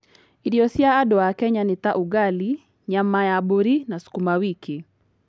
Irio cia andũ a Kenya nĩ ta: Ugali, nyama ya mbũri, na sukuma wiki.